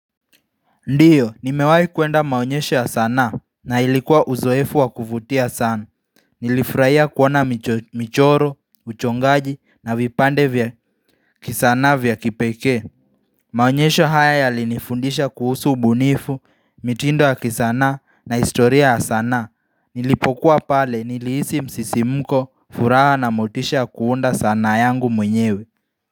Ndiyo, nimewai kuenda maonyesho ya sanaa na ilikuwa uzoefu wa kuvutia sana. Nilifraia kuona michoro, uchongaji na vipande vya kisanaa vya kipekee. Maonyesho haya yalinifundisha kuhusu ubunifu, mitindo ya kisanaa na historia ya sanaa. Nilipokuwa pale niliisi msisimko furaha na motisha kuunda sanaa yangu mwenyewe.